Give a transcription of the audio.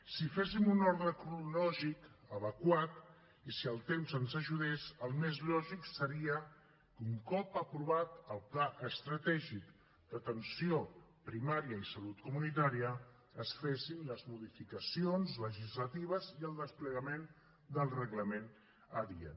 si féssim un ordre cronològic adequat i si el temps ens ajudés el més lògic seria que un cop aprovat el pla estratègic d’atenció primària i salut comunitària es fessin les modificacions legislatives i el desplegament del reglament adient